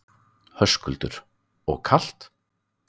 Höskuldur: Og kalt?